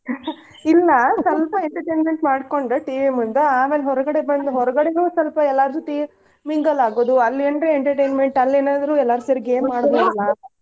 ಇಲ್ಲಾ ಸ್ವಲ್ಪ entertainment ಮಾಡ್ಕೊಂಡು TV ಮುಂದ ಆಮೇಲ್ ಹೊರ್ಗಡೆ ಬಂದ್, ಹೊರ್ಗಡೇನು ಸ್ವಲ್ಪ ಎಲ್ಲಾರ್ ಜೊತಿ mingle ಆಗುದು ಅಲ್ಲೇನ್ರ entertainment ಅಲ್ಲೇನಾದ್ರು ಎಲ್ಲಾರೂ ಸೇರಿ game ಆಡ್ಬೋದ್ ಅಲ್ಲ.